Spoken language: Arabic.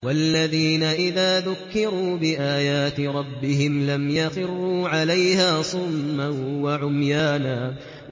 وَالَّذِينَ إِذَا ذُكِّرُوا بِآيَاتِ رَبِّهِمْ لَمْ يَخِرُّوا عَلَيْهَا صُمًّا وَعُمْيَانًا